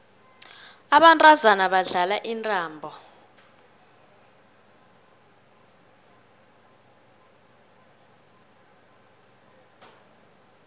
abantazana badlala intambo